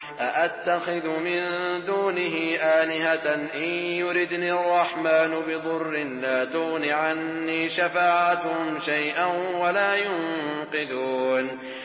أَأَتَّخِذُ مِن دُونِهِ آلِهَةً إِن يُرِدْنِ الرَّحْمَٰنُ بِضُرٍّ لَّا تُغْنِ عَنِّي شَفَاعَتُهُمْ شَيْئًا وَلَا يُنقِذُونِ